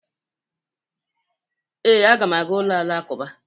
Ee, aga m aga ụlọ alakụba.